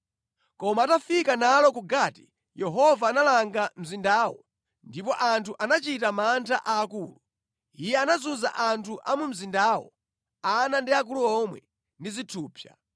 Koma atafika nalo ku Gati, Yehova analanga mzindawo, ndipo anthu anachita mantha aakulu. Iye anazunza anthu a mu mzindawo, ana ndi akulu omwe, ndi zithupsa.